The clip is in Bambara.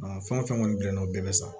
Fɛn o fɛn kɔni bɛnn'o bɛɛ bɛ san